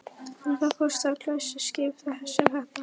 En hvað kostar glæsiskip sem þetta?